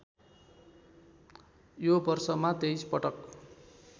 यो वर्षमा २३ पटक